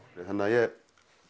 þannig að ég